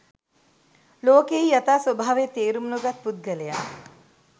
ලෝකයෙහි යථා ස්වභාවය තේරුම් නොගත් පුද්ගලයා